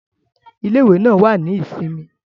Ile-iwe naa wa ni isinmi.